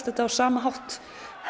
þetta á sama hátt